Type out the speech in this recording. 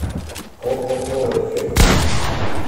ооо эффект